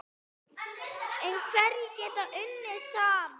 En hverjir geta unnið saman?